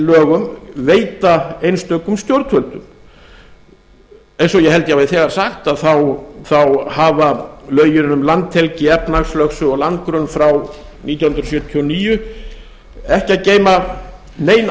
lögum veita einstökum stjórnvöldum eins og ég held að ég hafi þegar sagt þá hafa lögin um landhelgi efnahagslögsögu og landgrunn frá nítján hundruð sjötíu og níu ekki að geyma nein